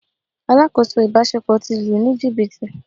Alákòóso ìbáṣepọ̀ ti lù ú ní jìbìtì.